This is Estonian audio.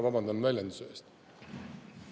Vabandan väljenduse eest!